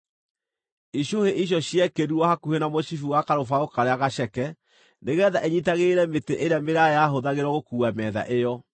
Icũhĩ icio ciekĩrirwo hakuhĩ na mũcibi wa karũbaũ karĩa gaceke, nĩgeetha ĩnyiitagĩrĩre mĩtĩ ĩrĩa mĩraaya yahũthagĩrwo gũkuua metha ĩyo.